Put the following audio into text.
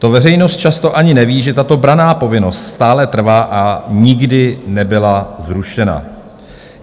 To veřejnost často ani neví, že tato branná povinnost stále trvá a nikdy nebyla zrušena.